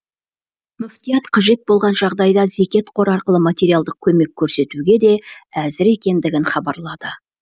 мүфтият қажет болған жағдайда зекет қоры арқылы материалдық көмек көрсетуге де әзір екендігін хабарлады